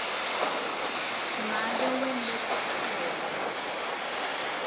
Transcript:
make wente sicholo